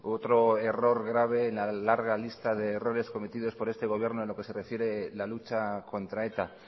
otro error grave en la larga lista de errores cometidos por este gobierno en lo que se refiere a la lucha contra eta